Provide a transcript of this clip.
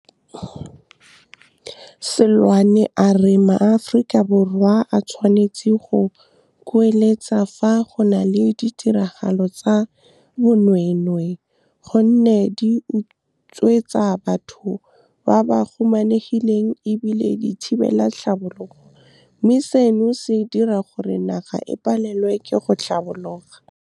Seloane a re maAforika Borwa a tshwanetse go kueletsa fa go na le ditiragalo tsa bonweenwee gonne di utswetsa batho ba ba humanegileng e bile di thibela tlhabologo, mme seno se dira gore naga e palelwe ke go tlhabologa. Seloane a re maAforika Borwa a tshwanetse go kueletsa fa go na le ditiragalo tsa bonweenwee gonne di utswetsa batho ba ba humanegileng e bile di thibela tlhabologo, mme seno se dira gore naga e palelwe ke go tlhabologa.